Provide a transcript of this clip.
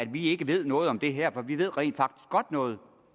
vi ikke ved noget om det her for vi ved rent faktisk godt noget